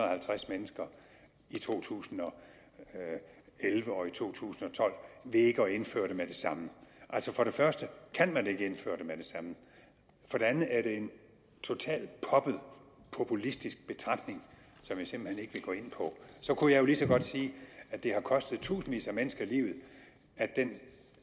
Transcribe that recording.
og halvtreds mennesker i to tusind og elleve og i to tusind og tolv ved ikke at indføre den med det samme altså for det første kan man ikke indføre det med det samme for det andet er det en total poppet populistisk betragtning som jeg simpelt hen ikke vil gå ind på så kunne jeg jo lige så godt sige at det har kostet tusindvis af mennesker livet at den